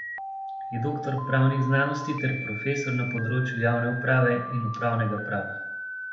Je doktor pravnih znanosti ter profesor na področju javne uprave in upravnega prava.